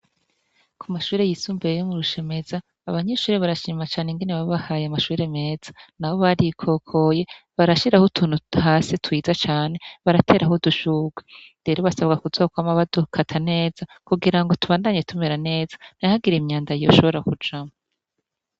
Ku mashure yishimye yo mu Rushemeza, abanyeshure barashima cane ingene babahaye amashure meza. N'abo barikokoye barashiraho utuntu hasi twiza cane baratetaho udushurwe. Rero basabwa kuzokwama badukara neza, kugira ngo tubandanye tumera neza ,ntihagire imyanda yoshobora kujamwo.